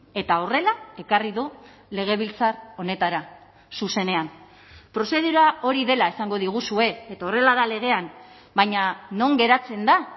eta horrela ekarri du legebiltzar honetara zuzenean prozedura hori dela esango diguzue eta horrela da legean baina non geratzen da